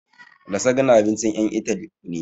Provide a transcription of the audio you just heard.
Lasagna abincin ƴan Itali ne